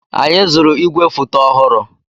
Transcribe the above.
Anyị zụrụ ígwèfoto ọhụrụ.